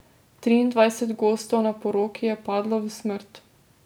Triindvajset gostov na poroki je padlo v smrt.